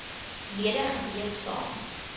lede gewees saam